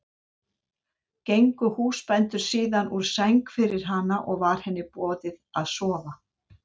Gengu húsbændur síðan úr sæng fyrir hana og var henni boðið að sofa.